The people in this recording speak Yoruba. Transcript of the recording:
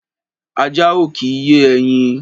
Ajá ò kì í yé ẹyin.